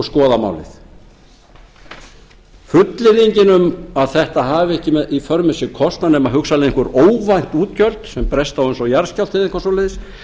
skoða málin fullyrðingin um að þetta hafi ekki í för með sér kostnað nema hugsanlega einhver óvænt útgjöld sem bresta á eins og jarðskjálfti eða eitthvað svoleiðis